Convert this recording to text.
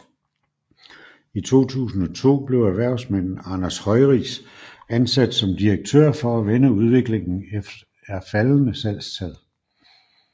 I 2002 blev erhvervsmanden Anders Høiris ansat som direktør for at vende udviklingen er faldende salgstal